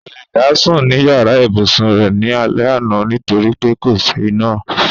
Kò lè dá sùn ní yàrá ìbùsun rẹ̀ ní alẹ́ àná nítorí pé kò sí iná.